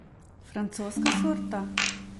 Francoska sorta?